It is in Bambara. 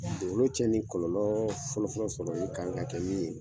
Dugukolo tiɲɛ ni kɔlɔlɔ fɔlɔfɔlɔ sɔrɔli kan ka kɛ min ye